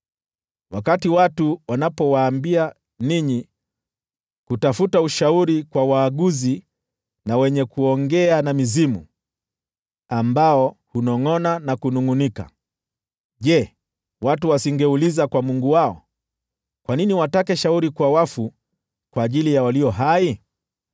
Wakati watu wanapowaambia ninyi kutafuta ushauri kwa waaguzi na wenye kuongea na mizimu, ambao hunongʼona na kunungʼunika, je, watu wasingeuliza kwa Mungu wao? Kwa nini watake shauri kwa wafu kwa ajili ya walio hai?